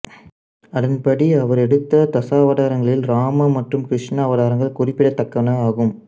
அதன்படி அவர் எடுத்த தசாவதாரங்களில் ராம மற்றும் கிருஷ்ண அவதாரங்கள் குறிப்பிடத்தக்கனவாகும்